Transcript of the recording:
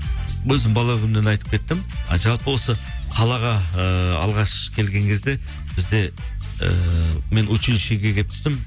өзім бала күнімнен айтып кеттім жалпы осы қалаға ыыы алғаш келген кезде бізде ііі мен училищиге келіп түстім